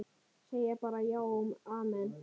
Segja bara já og amen.